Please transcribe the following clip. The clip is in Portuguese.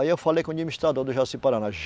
Aí eu falei com o administrador do Jaci-Paraná.